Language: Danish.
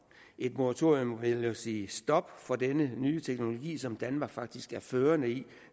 et moratorium vil sige et stop for denne nye teknologi som danmark faktisk er førende i